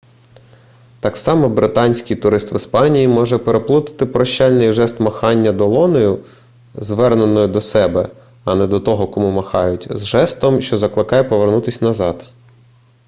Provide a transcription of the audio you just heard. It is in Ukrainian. так само британський турист в іспанії може переплутати прощальний жест махання долонею зверненою до себе а не до того кому махають з жестом що закликає повернутися назад